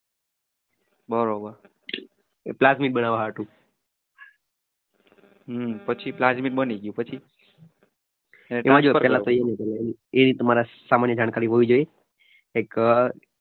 એ plastic બનાવા હાટું જાણકારી હોવી જોઈએ